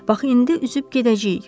Bax indi üzüb gedəcəyik.